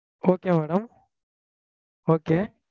okay madam okay